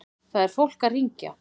Það er fólk að hringja.